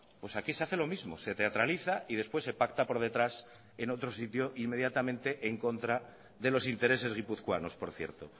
pues aquí se hace lo mismo se teatraliza y después se pacta por detrás en otro sitio inmediatamente en contra de los intereses guipuzcoanos por cierto